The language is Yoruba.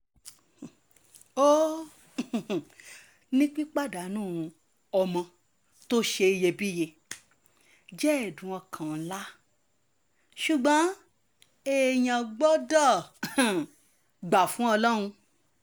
ó um ní pípàdánù ọmọ tó ṣe iyebíye jẹ́ ẹ̀dùn ọkàn ńlá ṣùgbọ́n èèyàn gbọ́dọ̀ um gbà fún ọlọ́run